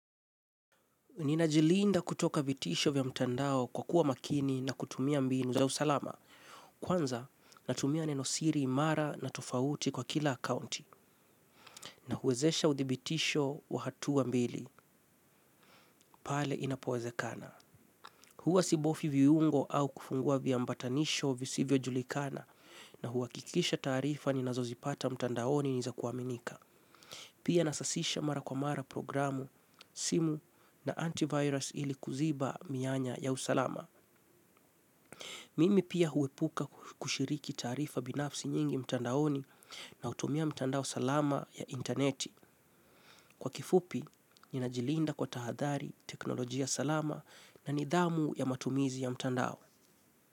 Nina jilinda kutoka vitisho vya mtandao kwa kuwa makini na kutumia mbinu za usalama. Kwanza natumia neno siri imara na tofauti kwa kila akaunti na huwezesha uthibitisho wa hatua mbili pale inapowezekana. Hua sibofyu viungo au kufungua vya ambatanisho visivyo julikana na huhakikisha taarifa ninazozipata mtandaoni ni za kuaminika. Pia nasasisha mara kwa mara programu simu na antivirus ili kuziba mianya ya usalama. Mimi pia huepuka kushiriki taarifa binafsi nyingi mtandaoni na hutumia mtandao salama ya intaneti. Kwa kifupi ninajilinda kwa tahadhari teknolojia salama na nidhamu ya matumizi ya mtandao.